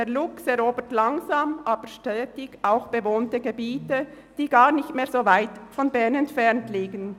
Der Luchs erobert langsam, aber stetig auch bewohnte Gebiete zurück, die gar nicht mehr so weit von Bern entfernt liegen.